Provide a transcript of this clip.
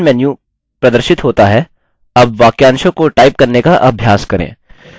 option menu प्रदर्शित होता हैअब वाक्यांशों को टाइप करने का अभ्यास करें